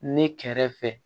Ne kɛrɛfɛ